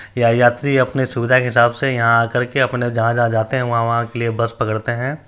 यह यात्री अपने सुविधा के हिसाब से यहां आ करके अपने जहां-जहां जाते है वहां वहां के लिए बस पकड़ते है।